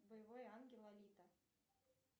боевой ангел алита